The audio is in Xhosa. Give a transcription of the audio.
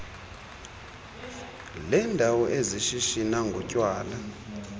leendawo ezishishina ngotywala